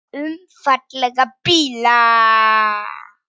Um fallega bíla.